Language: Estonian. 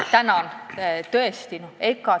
Tänan!